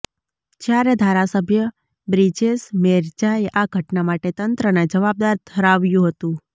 જ્યારે ધારાસભ્ય બ્રિજેશ મેરજાએ આ ઘટના માટે તંત્રને જવાબદાર ઠરાવ્યું હતું